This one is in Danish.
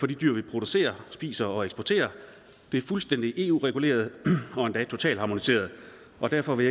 de dyr vi producerer spiser og eksporterer er fuldstændig eu reguleret og endda totalt harmoniseret og derfor vil